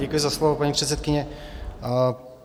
Děkuji za slovo, paní předsedkyně.